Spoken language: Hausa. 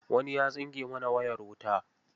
Wani ya tsinke mana wayar wuta.